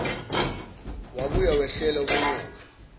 wabuya wehlela kunyoka